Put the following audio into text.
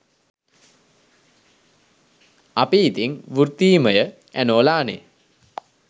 අපි ඉතිං වෘත්තීමය ඇනෝලානේ.